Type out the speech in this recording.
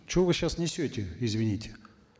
что вы сейчас несете извините